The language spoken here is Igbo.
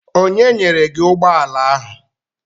Onye nyere gị ụgbọala ahụ?